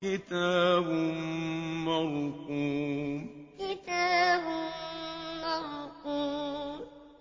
كِتَابٌ مَّرْقُومٌ كِتَابٌ مَّرْقُومٌ